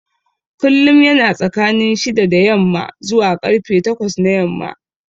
Kullum yana tsakanin shida da yamma zuwa karfe takwas na yamma